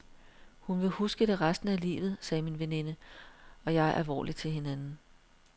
Hun vil huske det resten af livet, sagde min veninde og jeg alvorligt til hinanden.